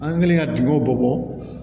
An kɛlen ka dingɛw bɔ